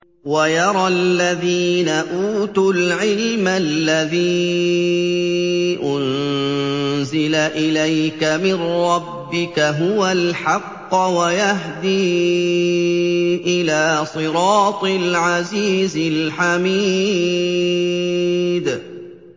وَيَرَى الَّذِينَ أُوتُوا الْعِلْمَ الَّذِي أُنزِلَ إِلَيْكَ مِن رَّبِّكَ هُوَ الْحَقَّ وَيَهْدِي إِلَىٰ صِرَاطِ الْعَزِيزِ الْحَمِيدِ